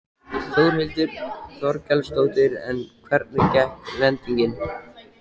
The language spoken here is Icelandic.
Þórhildur Þorkelsdóttir: En hvernig gekk lendingin?